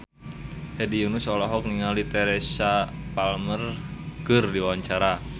Hedi Yunus olohok ningali Teresa Palmer keur diwawancara